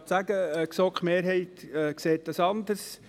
Die GSoK-Mehrheit sieht dies anders.